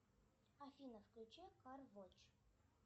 афина включи кар вотч